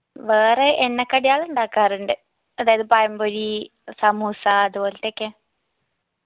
വേറെ എണ്ണക്കടികൾ ഉണ്ടാക്കാറുണ്ട് അതായത് പഴംപൊരി സമൂസ അത്പോൽതൊക്കെ